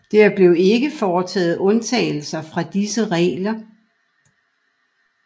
Der blev ikke foretaget undtagelser fra disse regler